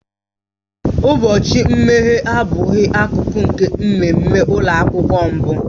Ụbọchị mmeghe abụghị akụkụ nke mmemme ụlọ akwụkwọ mbụ